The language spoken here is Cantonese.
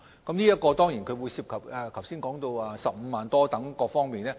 當然，有關研究亦涉及剛才提到的15萬元補償等方面。